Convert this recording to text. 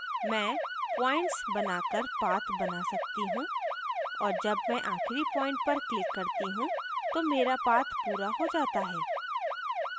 मैं points बनाकर path बना सकती हूँ और जब मैं आखिरी point पर click करती हूँ तो मेरा path पूरा हो जाता है